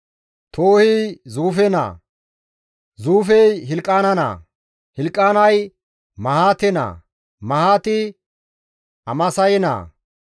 Toohi Zuufe naa; Zuufey Hilqaana naa; Hilqaanay Mahaate naa; Mahaati Amaasaye naa;